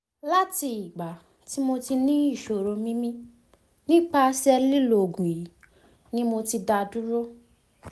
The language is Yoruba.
lati igba ti mo ni isoroni mimi nipase lilo oogun yi mo da duro